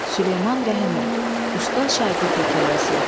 Süleyman Rəhimov, Usta Şagird hekayəsi.